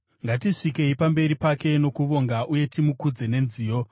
Ngatisvikei pamberi pake nokuvonga uye timukudze nenziyo.